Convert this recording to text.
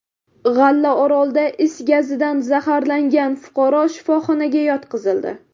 G‘allaorolda is gazidan zaharlangan fuqaro shifoxonaga yotqizildi.